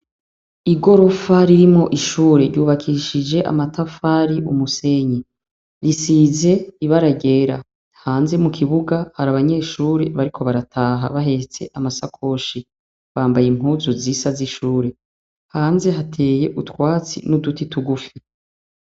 Igorofa ririmwo ishure ryubakishije amatafari, umusenyi. risize ibara ryera. Hanze mu kibuga hari abanyeshuri bariko barataha bahetse amasakoshi. Bambaye impuzu zisa z'ishuri. Hanze hateye utwatsi n'ututi tugufi.